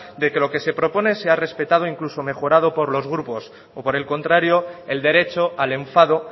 de que lo que se propone sea respetado incluso mejorado por los grupos o por el contrario el derecho al enfado